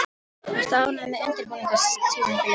Ertu ánægð með undirbúningstímabilið?